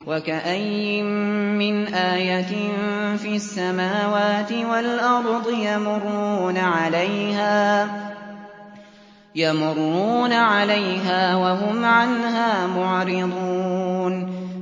وَكَأَيِّن مِّنْ آيَةٍ فِي السَّمَاوَاتِ وَالْأَرْضِ يَمُرُّونَ عَلَيْهَا وَهُمْ عَنْهَا مُعْرِضُونَ